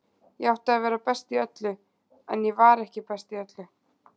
Ég átti að vera best í öllu, en ég var ekki best í öllu.